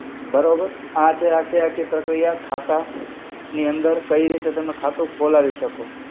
બરોબર. આ છે આખે-આખી પ્રક્રિયા ખાતા ની અંદર કઈ રીતે તમે ખાતું ખોલાવી શકો.